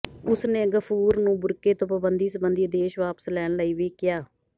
ਉਸ ਨੇ ਗਫ਼ੂਰ ਨੂੰ ਬੁਰਕੇ ਤੋਂ ਪਾਬੰਦੀ ਸਬੰਧੀ ਆਦੇਸ਼ ਵਾਪਸ ਲੈਣ ਲਈ ਵੀ ਕਿਹਾ